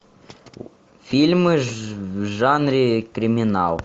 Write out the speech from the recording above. фильмы в жанре криминал